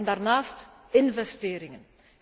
En daarnaast investeringen.